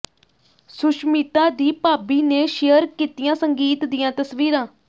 ਸੁਸ਼ਮਿਤਾ ਦੀ ਭਾਬੀ ਨੇ ਸ਼ੇਅਰ ਕੀਤੀਆਂ ਸੰਗੀਤ ਦੀਆਂ ਤਸਵੀਰਾਂ